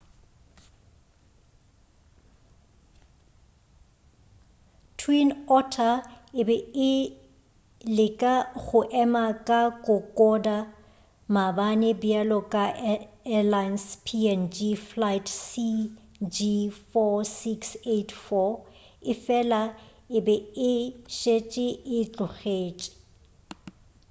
twin otter e be e leka go ema ka kokoda maabane bjalo ka airlines png flight cg4684 efela e be e šetše e tlogetše